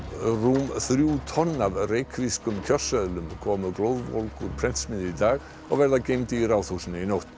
rúm þrjú tonn af reykvískum kjörseðlum komu glóðvolg úr prentsmiðju í dag og verða geymd í Ráðhúsinu í nótt